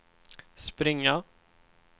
springa